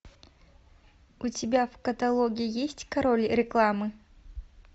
у тебя в каталоге есть король рекламы